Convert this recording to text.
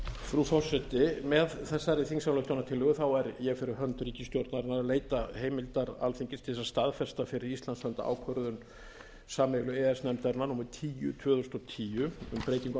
frú forseti með þessari þingsályktunartillögu er ég fyrir hönd ríkisstjórnarinnar að leita heimildar alþingis til að staðfesta fyrir íslands hönd ákvörðun sameiginlegu e e s nefndarinnar númer tíu tvö þúsund og tíu um breytingu á